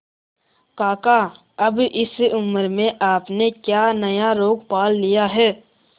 काका अब इस उम्र में आपने क्या नया रोग पाल लिया है